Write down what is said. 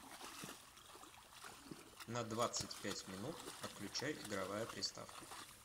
на двадцать пять минут отключай игровая приставка